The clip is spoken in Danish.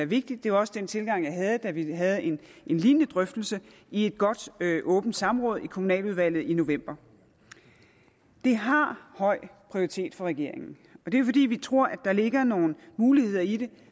vigtig det var også den tilgang jeg havde da vi havde en lignende drøftelse i et godt åbent samråd i kommunaludvalget i november det har høj prioritet for regeringen og det fordi vi tror at der ligger nogle muligheder i det